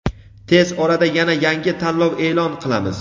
tez orada yana yangi tanlov e’lon qilamiz.